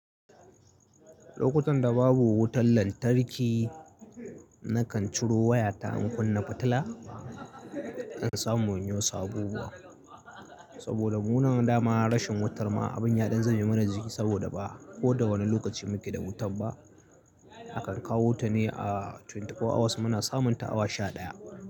Lokutan da babu wutan lantarki, nakan ciro waya ta in kunna fitila in samu inyi wasu abubuwa. Saboda mu nan dama rashin wutar ma abun ya ɗan zame mana jiki saboda ba ko da wane lokaci muke da wutan ba. A kan kawo wuta ne a twenty four hours muna samun ta awa sha ɗaya.